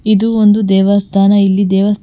ಇದು ಒಂದು ದೇವಸ್ಥಾನ ಇಲ್ಲಿ ದೇವಸ್ಥಾ--